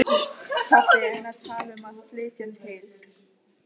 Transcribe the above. Allt lék á reiðiskjálfi og drunurnar voru ærandi.